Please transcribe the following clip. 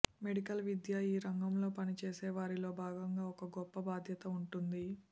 medical విద్య ఈ రంగంలో పని చేసే వారిలో భాగంగా ఒక గొప్ప బాధ్యత ఉంటుంది